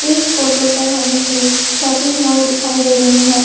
इस फोटो पर हमें एक शॉपिंग मॉल दिखाई दे रहे हैं।